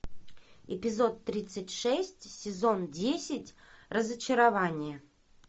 эпизод тридцать шесть сезон десять разочарование